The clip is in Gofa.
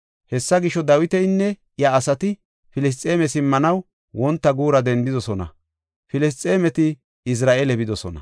Hessa gisho, Dawitinne iya asati Filisxeeme simmanaw wonta guura dendidosona; Filisxeemeti Izira7eele bidosona.